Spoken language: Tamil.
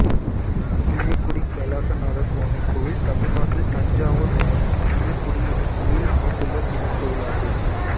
புளியக்குடி கைலாசநாதசுவாமி கோயில் தமிழ்நாட்டில் தஞ்சாவூர் மாவட்டம் புளியக்குடி என்னும் ஊரில் அமைந்துள்ள சிவன் கோயிலாகும்